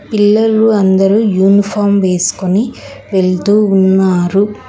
పిల్లలు అందరూ యూనిఫాం వేసుకుని వెళ్తూ ఉన్నారు.